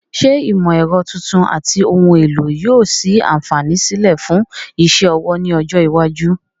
Ṣé ìmọ̀ ẹ̀rọ tuntun àti ohun èlò yóò sí àǹfààní sílẹ̀ fún iṣẹ́ ọwọ́ ní ọjọ́ iwájú?